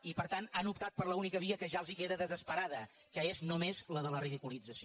i per tant han optat per l’única via que ja els queda desesperada que és només la de la ridiculització